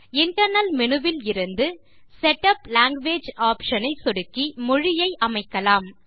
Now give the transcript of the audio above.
internal menu விலிருந்து setup language option ஐ சொடுக்கி மொழியை அமைக்கலாம்